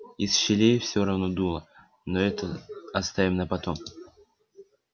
из щелей всё равно дуло но это оставим на потом